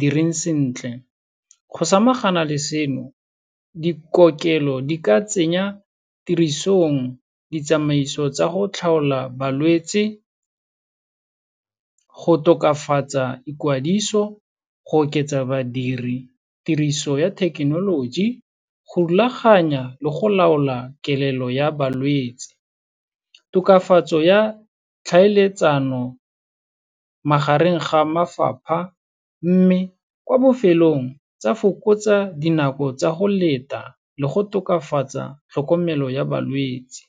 direng sentle. Go samagana le seno, dikokelelo di ka tsenya tirisong ditsamaiso tsa go tlhaola balwetse, go tokafatsa ikwadiso, go oketsa badiri, tiriso ya thekenoloji, go rulaganya le go laola kelello ya balwetsi. Tokafatso ya tlhaeletsano magareng ga mafapha mme kwa bofelong tsa fokotsa dinako tsa go leta le go tokafatsa tlhokomelo ya balwetsi.